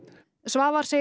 Svavar segir